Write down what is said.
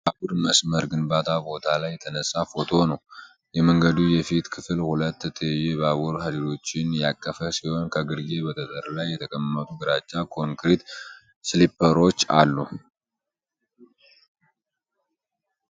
የባቡር መስመር ግንባታ ቦታ ላይ የተነሳ ፎቶ ነው። የመንገዱ የፊት ክፍል ሁለት ትይዩ የባቡር ሀዲዶችን ያቀፈ ሲሆን ከግርጌ በጠጠር ላይ የተቀመጡ ግራጫ ኮንክሪት ስሊፐሮች አሉ።